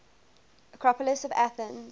acropolis of athens